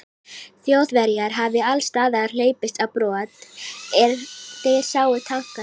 Þjóðverjar hafi allsstaðar hlaupist á brott, er þeir sáu tankana.